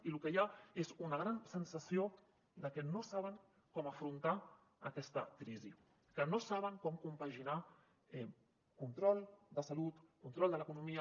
i lo que hi ha és una gran sensació de que no saben com afrontar aquesta crisi que no saben com compaginar control de salut control de l’economia